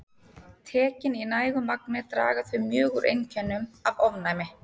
Tekin í nægu magni draga þau mjög úr einkennum af ofnæmi.